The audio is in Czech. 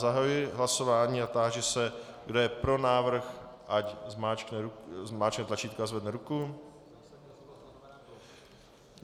Zahajuji hlasování a táži se, kdo je pro návrh, ať zmáčkne tlačítko a zvedne ruku.